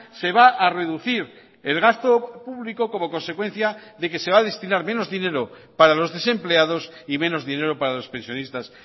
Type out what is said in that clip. se va a reducir el gasto público como consecuencia de que se va a destinar menos dinero para los desempleados y menos dinero para los pensionistas